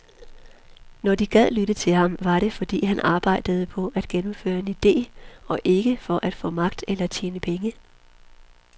Når de gad lytte til ham, var det, fordi han arbejdede på at gennemføre en ide og ikke for at få magt eller tjene penge.